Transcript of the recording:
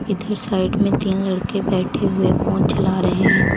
इधर साइड में तीन लड़के बैठे हुए फोन चला रहे हैं।